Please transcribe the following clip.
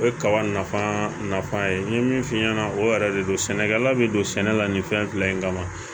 O ye kaba nafa nafa ye n ye min f'i ɲɛna o yɛrɛ de don sɛnɛkɛla be don sɛnɛ la nin fɛn fila in kama